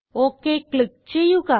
okay click ചെയ്യുക